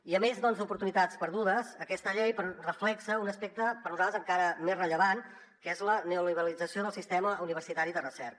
i a més doncs d’oportunitats perdudes aquesta llei reflecteix un aspecte per nosaltres encara més rellevant que és la neoliberalització del sistema universitari de recerca